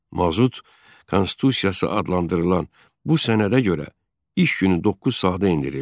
Mazut konstitusiyası adlandırılan bu sənədə görə iş günü doqquz saata endirildi.